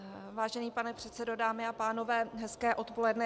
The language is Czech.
Vážený pane předsedo, dámy a pánové, hezké odpoledne.